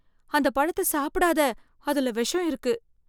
அந்தப் பழத்த சாப்பிடாத, அதுல விஷம் இருக்கு.